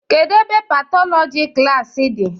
Kedụ ebe Patọlọji klaasị di?